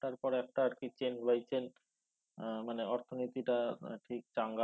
তারপরে একটা আরকি chain by chain আহ মানে অর্থনীতিটা ঠিক চাঙ্গা